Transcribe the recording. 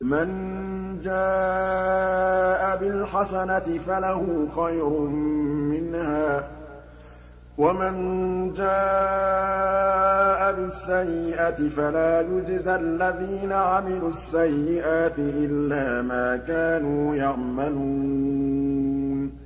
مَن جَاءَ بِالْحَسَنَةِ فَلَهُ خَيْرٌ مِّنْهَا ۖ وَمَن جَاءَ بِالسَّيِّئَةِ فَلَا يُجْزَى الَّذِينَ عَمِلُوا السَّيِّئَاتِ إِلَّا مَا كَانُوا يَعْمَلُونَ